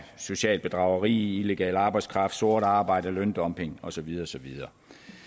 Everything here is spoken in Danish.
socialt bedrageri illegal arbejdskraft sort arbejde løndumping og så videre og så videre